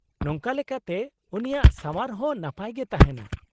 -ᱱᱚᱝᱠᱟ ᱞᱮᱠᱟᱛᱮ ᱩᱱᱤᱭᱟᱜ ᱥᱟᱶᱟᱨ ᱦᱚᱸ ᱱᱟᱯᱟᱭ ᱜᱮ ᱛᱟᱦᱮᱸᱱᱟ ᱾